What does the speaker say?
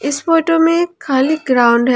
इस फोटो में खाली ग्राउंड है।